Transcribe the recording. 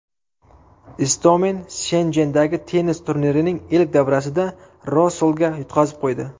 Istomin Shenjendagi tennis turnirining ilk davrasida Rosolga yutqazib qo‘ydi.